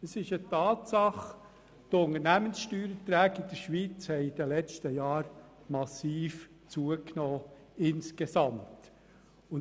Es ist eine Tatsache, dass die Unternehmenssteuererträge in der Schweiz in den letzten Jahren insgesamt massiv zugenommen haben.